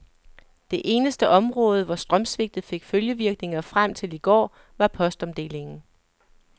Det eneste område, hvor strømsvigtet fik følgevirkninger frem til i går, var postomdelingen.